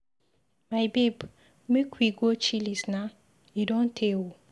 My babe, make we go Chillies na, e don tey oo